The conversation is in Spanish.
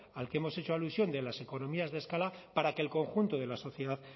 al que hemos hecho alusión de las economías de escala para que el conjunto de la sociedad